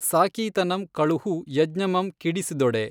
ಸಾಕೀತನಂ ಕಳುಹು ಯಜ್ಞಮಂ ಕಿಡಿಸಿದೊಡೆ।